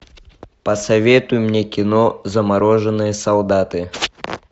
посоветуй мне кино замороженные солдаты